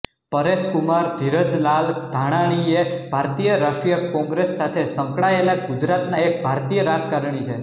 પરેશકુમાર ધીરજલાલ ધાનાણી એ ભારતીય રાષ્ટ્રીય કોંગ્રેસ સાથે સંકળાયેલા ગુજરાતના એક ભારતીય રાજકારણી છે